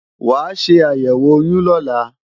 Wàá ṣe àyẹ̀wò oyún lọ́la!